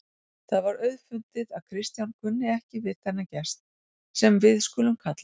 Það var auðfundið að Kristján kunni ekki við þennan gest, sem við skulum kalla